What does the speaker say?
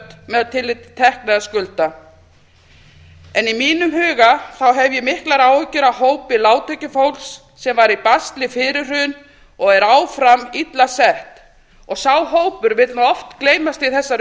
með tilliti til tekna eða skulda í mínum huga hef ég miklar áhyggjur af hópi lágtekjufólks sem var í basli fyrir hrun og er áfram illa sett sá hópur vill oft gleymast í þessari